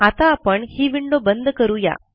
आता आपण ही विंडो बंद करू या